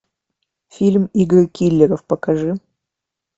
фильм игры киллеров покажи